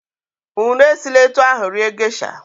Unu esila etu ahụ rie gesha!